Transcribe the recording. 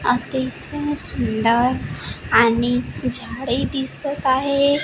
अतिशय सुंदर आणि झाडे दिसत आहे.